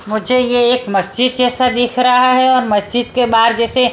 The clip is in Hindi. मुझे ये एक मस्जिद जैसा दिख रहा है और मस्जिद के बाहर जैसे --